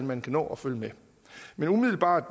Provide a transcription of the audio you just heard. man kan nå at følge med umiddelbart